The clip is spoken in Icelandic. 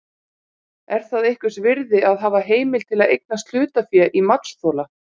Er það einhvers virði að hafa heimild til að eignast hlutafé í matsþola?